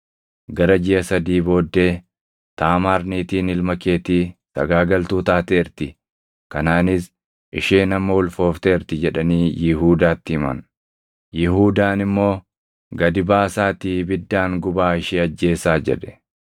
Gara jiʼa sadii booddee, “Taamaar niitiin ilma keetii sagaagaltuu taateerti; kanaanis isheen amma ulfoofteerti” jedhanii Yihuudaatti himan. Yihuudaan immoo, “Gadi baasaatii ibiddaan gubaa ishee ajjeesaa!” jedhe.